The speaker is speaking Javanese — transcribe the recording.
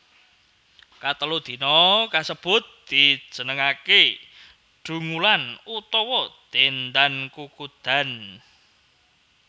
Katelu dina kasebut dijenengaké Dungulan utawa Dendan Kukudan